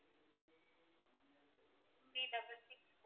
three double six